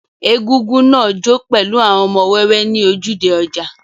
Egúngún náà jó pẹ̀lú àwọn ọmọ wẹ́wẹ́ ní ojúde ọjà.